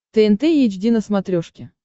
тнт эйч ди на смотрешке